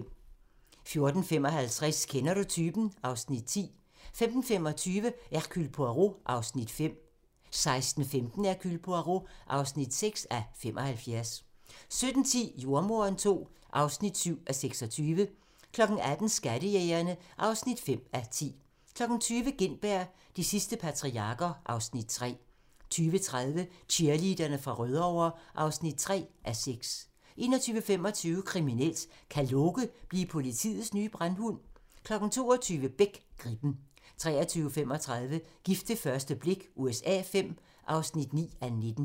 14:55: Kender du typen? (Afs. 10) 15:25: Hercule Poirot (5:75) 16:15: Hercule Poirot (6:75) 17:10: Jordemoderen II (7:26) 18:00: Skattejægerne (5:10) 20:00: Gintberg - de sidste patriarker (Afs. 3) 20:30: Cheerleaderne fra Rødovre (3:6) 21:25: Kriminelt: Kan Loke blive politiets nye brandhund? 22:00: Beck: Gribben 23:35: Gift ved første blik USA V (9:19)